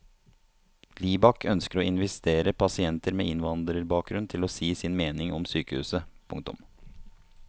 Libak ønsker å invitere pasienter med innvandrerbakgrunn til å si sin mening om sykehuset. punktum